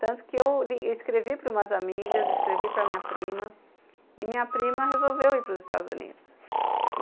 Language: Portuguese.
Tanto que eu li, escrevi para umas amigas, escrevi para a minha prima, e minha prima resolveu ir para os Estados Unidos.